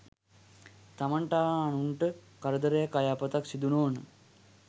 තමන්ට හා අනුන්ට කරදරයක් අයහපතක් සිදු නොවන